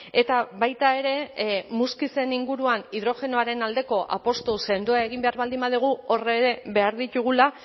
eta baita ere muskizen inguruan hidrogenoaren aldeko apustu sendoa egin behar baldin badugu hor ere behar ditugula